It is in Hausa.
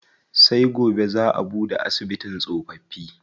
Sai gobe zaa a buɗe asibitin tsofaffi.